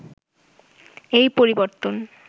এই পরিবর্তন